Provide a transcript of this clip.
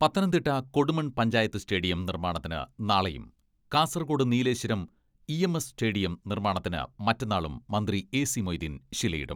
Pathanamthitta Kodumon panchayat stadium നിർമ്മാണത്തിന് നാളെയും Kasaragod Nileshwaram EMS stadium നിർമ്മാണത്തിന് മറ്റന്നാളും മന്ത്രി എ.സി.മൊയ്തീൻ ശിലയിടും.